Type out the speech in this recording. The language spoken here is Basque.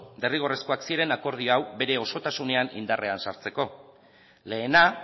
derrigorrezkoak ziren akordio hau bere osotasunean indarrean sartzeko lehena